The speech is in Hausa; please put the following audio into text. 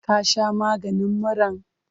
Ka sha maganin muran?